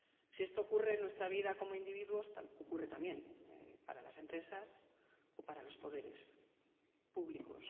Si esto ocurre en nuestra vida como individuos, ocurre también para las empresas o para los poderes públicos.